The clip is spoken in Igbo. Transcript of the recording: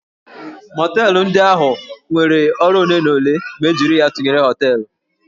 Mọteelụ ndị ahụ nyere ọrụ ole na ole ma e jiri ya tụnyere hóteélụ̀